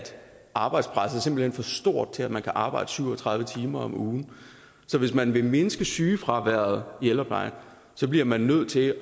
arbejdspresset simpelt for stort til at man kan arbejde syv og tredive timer om ugen så hvis man vil mindske sygefraværet i ældreplejen bliver man nødt til